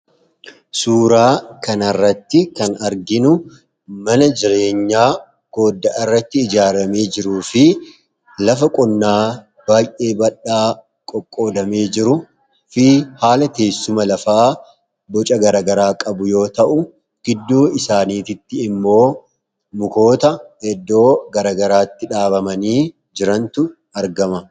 suuraa kanaarratti kan arginu mana jireenyaa goodda'a irratti ijaaramee jiru fi lafa qonnaa baay'ee badhaa qoqqoodamee jiru fi haala teessuma lafaa boca garagaraa qabu yoo ta'u gidduu isaaniititti immoo mukoota eddoo garagaraatti dhaabamanii jirantu argama